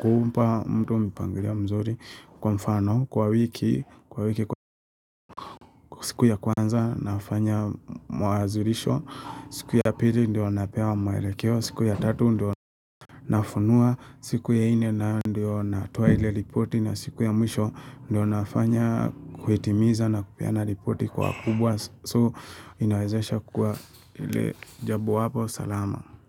kumpa mtu mpangilio mzuri kwa mfano kwa wiki. Kwa wiki siku ya kwanza nafanya mawazilisho. Siku ya pili ndio napewa mwelekeo. Siku ya tatu ndio nafunua. Siku ya nne ndio na toa ile ripoti na siku ya mwisho. Ndio nafanya kuhitimiza na kupeana ripoti kwa kubwa. So inawezesha kua ile jabowapo salama.